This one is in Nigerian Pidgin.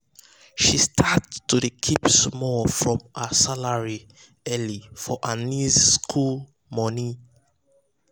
she start to dey keep small from her salary early for her niece school school money.